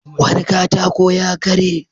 Wani katako ya karye.